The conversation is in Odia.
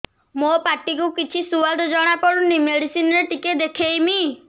ମୋ ପାଟି କୁ କିଛି ସୁଆଦ ଜଣାପଡ଼ୁନି ମେଡିସିନ ରେ ଟିକେ ଦେଖେଇମି